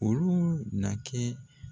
Olu na kɛ